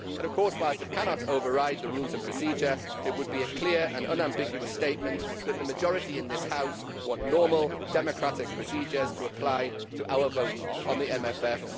Of course, while we cannot override the Rules of Procedure, it would be a clear and unambiguous statement that the majority in this House want normal, democratic procedures to apply to our vote on the MFF.